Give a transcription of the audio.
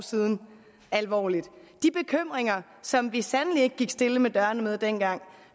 siden alvorligt de bekymringer som vi sandelig ikke gik stille med dørene med dengang